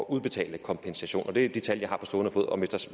udbetale kompensation det er de tal jeg har på stående fod